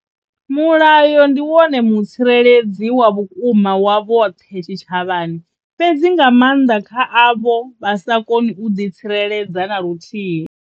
Mulayo ndi wone mutsireledzi wa vhukuma wa vhoṱhe tshitshavhani, fhedzi nga maanḓa kha avho vha sa koni u ḓitsireledza na luthihi.